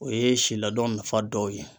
O ye si laadon nafa dɔw ye.